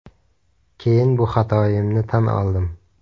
Keyin bu xatoyimni tan oldim.